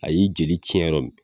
A y'i jeli cɛn yɔrɔ min